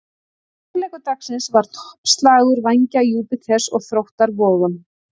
Stórleikur dagsins var toppslagur Vængja Júpíters og Þróttar Vogum.